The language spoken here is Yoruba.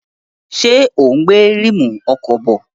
Ṣé ò ń gbé ríìmù ọkọ̀ bọ̀?